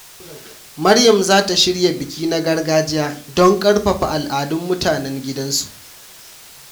Maryam za ta shirya biki na gargajiya don karfafa al’adun mutanen gidansu.